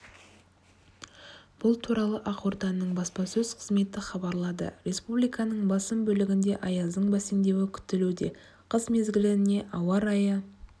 бұл туралы ақорданың баспасөз қызметі хабарлады республиканың басым бөлігінде аяздың бәсеңдеуі күтілуде қыс мезгіліне ауа райы